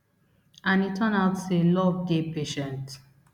and e turn out out say love dey patient